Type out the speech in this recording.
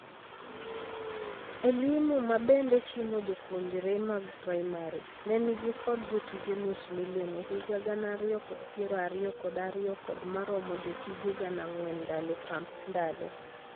E-limu , mabende chimo jopuonre mag primary, ne nigi kod jotije nus milion e higa gana ariyo kod piero ariyo kod ariyo kod maromo jotije gana ang'wen ndalo kandalo.